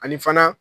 Ani fana